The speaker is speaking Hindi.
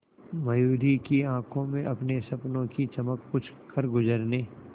मयूरी की आंखों में अपने सपनों की चमक कुछ करगुजरने